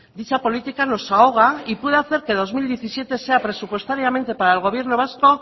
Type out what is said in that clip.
dicha política nos ahoga y puede hacer que dos mil diecisiete sea presupuestariamente para el gobierno vasco